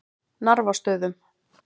Narfastöðum